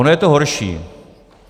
Ono je to horší.